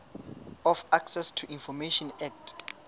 of access to information act